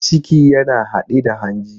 Ciki yana haɗe da hanji.